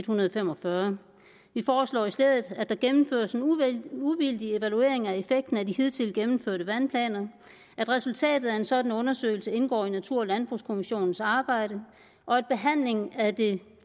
hundrede og fem og fyrre vi foreslår i stedet at der gennemføres en uvildig evaluering af effekten af de hidtil gennemførte vandplaner at resultatet af en sådan undersøgelse indgår i natur og landbrugskommissionens arbejde og at behandlingen af det